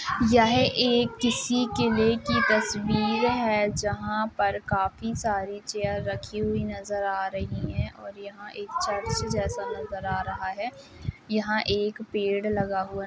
यह एक किसी किले की तस्वीर है जहाँं पर काफी सारी चेयर रखी हुई नजर आ रहीं हैं और यहाँं एक चर्च जैसा नजर आ रहा है। यहाँ एक पेड़ लगा हुआ --